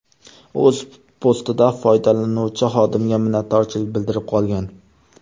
O‘z postida foydalanuvchi xodimga minnatdorchilik bildirib qolgan.